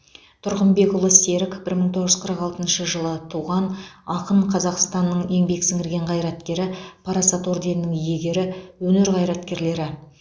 тұрғынбекұлы серік бір мың тоғыз жүз қырық алтыншы жылы туған ақын қазақстанның еңбек сіңірген қайраткері парасат орденінің иегері өнер қайраткерлері